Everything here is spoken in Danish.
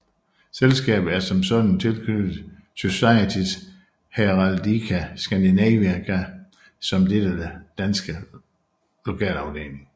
Selskabet er som sådan tilknyttet Societas Heraldica Scandinavica som dettes danske lokalafdeling